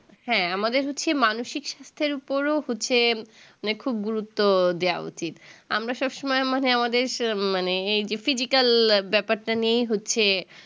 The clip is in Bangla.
হ্যাঁ আমাদের হচ্ছে মানসিক স্বাস্থ্যের উপরও হচ্ছে মানে খুব গুরুত্ব দেওয়া উচিত আমরা সবসময় মানে আমাদের স মানে এই যে physical ব্যাপারটা নিয়ে হচ্ছে